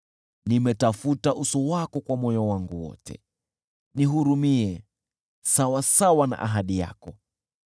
Nimetafuta uso wako kwa moyo wangu wote, nihurumie sawasawa na ahadi yako.